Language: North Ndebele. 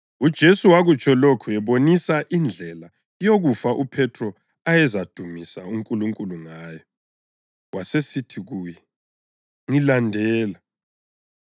UJesu wakutsho lokhu ebonisa indlela yokufa uPhethro ayezadumisa uNkulunkulu ngayo. Wasesithi kuye, “Ngilandela!”